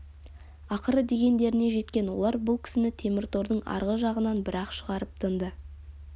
ақыры дегендеріне жеткен олар бұл кісіні теміртордың арғы жағынан бір-ақ шығарып тынды